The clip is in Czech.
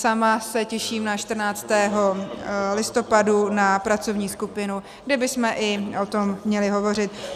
Sama se těším na 14. listopadu na pracovní skupinu, kde bychom i o tom měli hovořit.